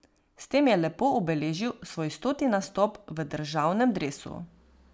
S tem je lepo obeležil svoj stoti nastop v državnem dresu.